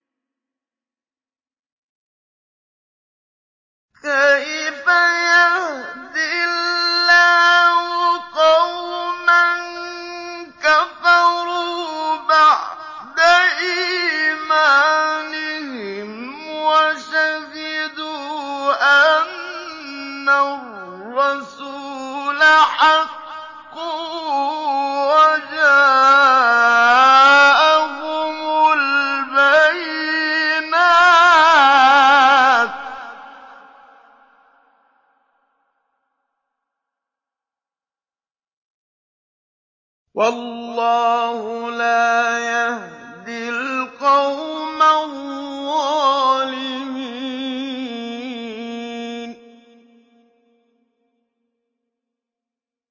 كَيْفَ يَهْدِي اللَّهُ قَوْمًا كَفَرُوا بَعْدَ إِيمَانِهِمْ وَشَهِدُوا أَنَّ الرَّسُولَ حَقٌّ وَجَاءَهُمُ الْبَيِّنَاتُ ۚ وَاللَّهُ لَا يَهْدِي الْقَوْمَ الظَّالِمِينَ